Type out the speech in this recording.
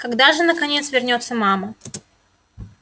когда же наконец вернётся мама